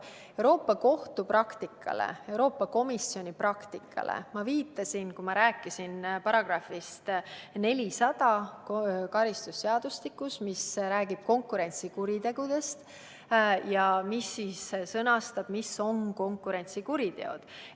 Euroopa Kohtu praktikale ja Euroopa Komisjon praktikale ma viitasin siis, kui rääkisin karistusseadustiku §-st 400, mis räägib konkurentsikuritegudest ja milles on sõnastatud, mis on konkurentsikuriteod.